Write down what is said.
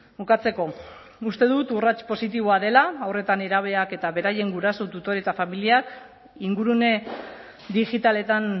bukatzeko uste dut urrats positiboa dela haur eta nerabeak eta beraien guraso tutore eta familiak ingurune digitaletan